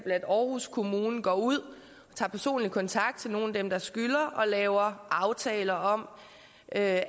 at aarhus kommune går ud og tager personlig kontakt til nogle af dem der skylder og laver aftaler om at